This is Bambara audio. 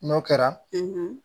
N'o kɛra